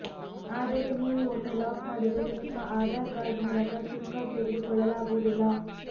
ಆದರೆ ನೀವು ಒಮ್ಮೆ ಲಾಕ್ ಮಾಡಿದರೆ ನಿಮ್ಮ ಆಧಾರ್ ಕಾರ್ಡ್ ಮೂಲಕ ಸಿಮ್ ಕಾರ್ಡ್ ತೆಗೆದುಕೊಳ್ಳಲಾಗುವುದಿಲ್ಲ